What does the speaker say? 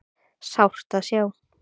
Sárt að sjá